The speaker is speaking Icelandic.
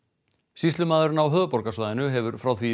sýslumaðurinn á höfuðborgarsvæðinu hefur frá því í